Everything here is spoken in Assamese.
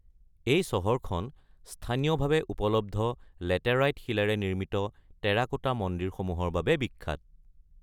এই চহৰখন স্থানীয়ভাৱে উপলব্ধ লেটেৰাইট শিলৰ পৰা নিৰ্মিত টেৰাকোটা মন্দিৰসমূহৰ বাবে বিখ্যাত।